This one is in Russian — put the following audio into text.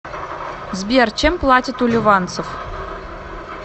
сбер чем платят у ливанцев